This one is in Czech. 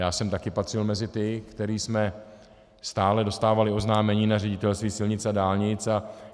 Já jsem taky patřil mezi ty, kteří jsme stále dostávali oznámení na Ředitelství silnic a dálnic.